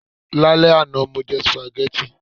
Lálẹ́ àná, mo jẹ spaghetti